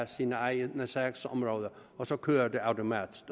sine egne sagsområder og så kørte det automatisk